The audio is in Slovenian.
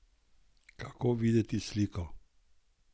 Kako videti sliko?